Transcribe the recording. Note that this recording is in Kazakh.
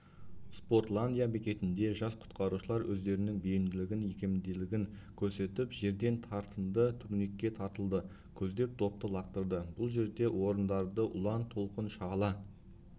спортландия бекетінде жас құтқарушылар өздерінің бейімділігін икемділігін көрсетіп жерден тартынды турникке тартылды көздеп допты лақтырды бұл жерде орындарды ұлан толқын шағала